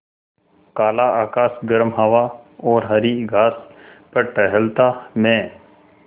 काला आकाश गर्म हवा और हरी घास पर टहलता मैं